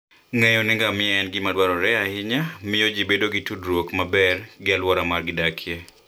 Ng'eyo ni ngamia en gima dwarore ahinya, miyo ji bedo gi tudruok maber gi alwora ma gidakie.